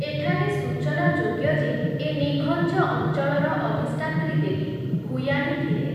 ଏଠାରେ ସୂଚନାଯୋଗ୍ୟ ଯେ ଏ ନିଘଞ୍ଚ ଅଞ୍ଚଳର ଅଧିଷ୍ଠାତ୍ରୀଦେବୀ 'ଭୂୟାଣୀ' ଥିଲେ ।